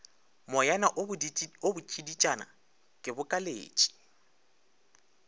moyana wo botšiditšana ke bokaletše